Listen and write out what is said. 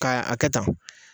Ka a kɛ tan.